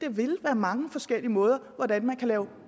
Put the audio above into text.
vil være mange forskellige måder at lave